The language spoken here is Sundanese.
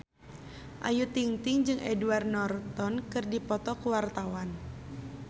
Ayu Ting-ting jeung Edward Norton keur dipoto ku wartawan